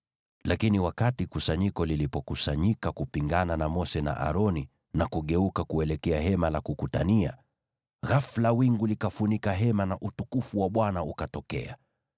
Lakini wakati kusanyiko lilipokusanyika kupingana na Mose na Aroni, nalo likageuka kuelekea Hema la Kukutania, ghafula wingu likafunika Hema, nao utukufu wa Bwana ukatokea.